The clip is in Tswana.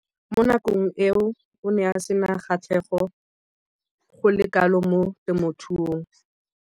Mo nakong eo o ne a sena kgatlhego go le kalo mo temothuong.